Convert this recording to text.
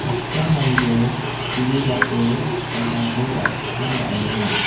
mande ku·bilbato an·tangko jachipchang ra·enga.